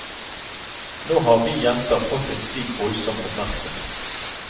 Nå har vi jenter fått en slik voldsom oppmerksomhet.